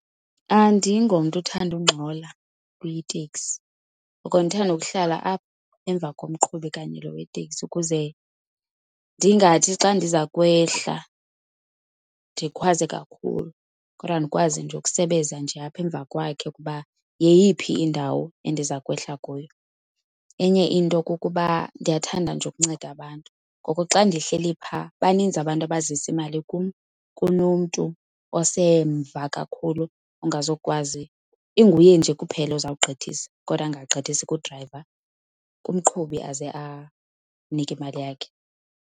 Andingomntu uthanda ungxola kwitekisi, ngoko ndithanda ukuhlala apha emva komqhubi kanye loo weteksi ukuze ndingathi xa ndiza kwehla ndikhwaze kakhulu kodwa ndikwazi nje ukusebeza nje apha emva kwakhe ukuba yeyiphi indawo endiza kwehla kuyo. Enye into kukuba ndiyathanda nje ukunceda abantu, ngoko xa ndihleli phaa baninzi abantu abazisa imali kunomntu osemva kakhulu ongazukwazi, inguye nje kuphela ozawugqithisa kodwa angagqithisi kudrayiva, kumqhubi, aze amnike imali yakhe.